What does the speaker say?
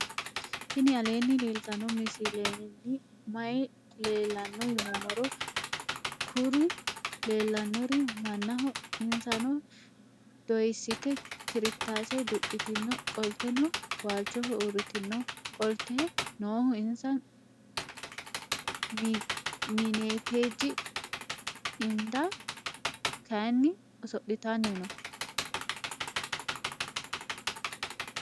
tini aleni leltano misileni maayi leelano yinnumoro. kuuriu lelanori manaho insano doyisite kirtase duqitino qolteno walchoho uritino. qolte nohu insa minettj inda kayini ooso'litani noo.